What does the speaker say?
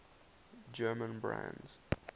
german brands